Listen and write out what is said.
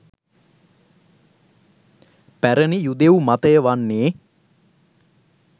පැරැණි යුදෙව් මතය වන්නේ